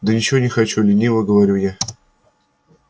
да ничего не хочу лениво говорю я